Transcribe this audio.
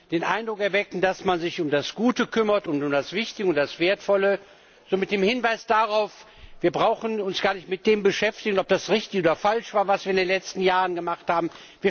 Den Eindruck erwecken, dass man sich um das Gute kümmert und um das Wichtige und das Wertvolle, so mit dem Hinweis darauf Wir brauchen uns gar nicht damit zu beschäftigen, ob das richtig oder falsch war, was wir in den letzten Jahren gemacht haben.